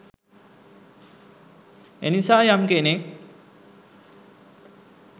එනිසා යම් කෙනෙක්